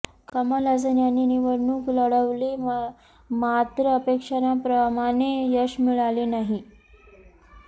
कमल हसन यांनी निवडणूक लढवली मात्र अपेक्षेप्रमाणे यश मिळाले नाही